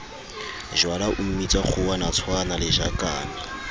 jwala o mmitsa kgowanatshwana lejakane